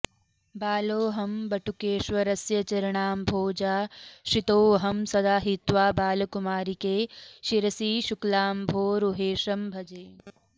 बालोऽहं वटुकेश्वरस्य चरणाम्भोजाश्रितोऽहं सदा हित्वा बालकुमारिके शिरसि शुक्लाम्भोरुहेशं भजे